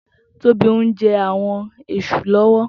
Tobi n jè áwòn èṣú lòwò